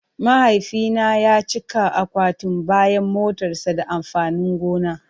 Mahaifina ya cika akwatin bayan motarsa da amfanin gona.